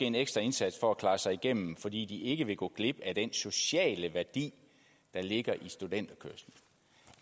en ekstra indsats for at klare sig igennem fordi de ikke vil gå glip af den sociale værdi der ligger i studenterkørsel